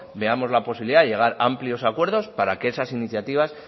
veamos la posibilidad de llegar a amplios acuerdos para que esas iniciativas